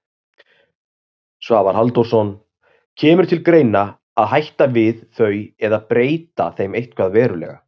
Svavar Halldórsson: Kemur til greina að hætta við þau eða breyta þeim eitthvað verulega?